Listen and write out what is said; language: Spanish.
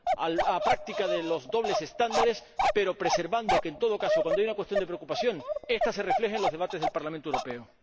a la práctica de los dobles estándares, pero preservando que, en todo caso, cuando haya una cuestión de preocupación, esta se refleje en los debates del Parlamento Europeo.